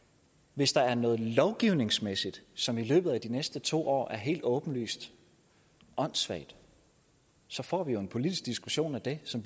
hvis der er noget lovgivningsmæssigt som i løbet af de næste to år er helt åbenlyst åndssvagt så får vi jo en politisk diskussion af det som